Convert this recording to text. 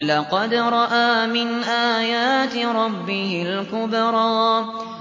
لَقَدْ رَأَىٰ مِنْ آيَاتِ رَبِّهِ الْكُبْرَىٰ